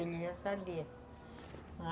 Ele já sabia.